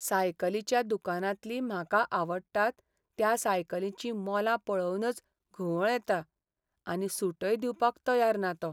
सायकलीच्या दुकानांतलीं म्हाका आवडटात त्या सायकलींचीं मोलां पळोवनच घुंवळ येता. आनी सूटय दिवपाक तयार ना तो.